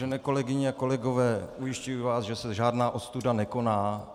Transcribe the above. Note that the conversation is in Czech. Vážené kolegyně a kolegové, ujišťuji vás, že se žádná ostuda nekoná.